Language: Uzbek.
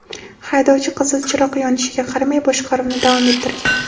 Haydovchi qizil chiroq yonishiga qaramay boshqaruvni davom ettirgan.